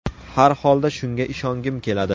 Har holda shunga ishongim keladi.